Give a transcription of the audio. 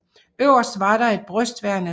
Øverst var der et brystværn af træ